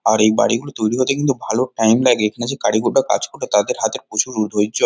আর এই বাড়িগুলো তৈরী হতে কিন্তু ভালো টাইম লাগে। আর এখানে যে কারিগররা কাজ করে তাদের হাতের প্রচুর উম ধৈয--